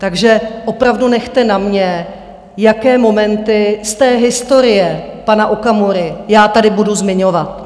Takže opravdu nechte na mně, jaké momenty z té historie pana Okamury já tady budu zmiňovat.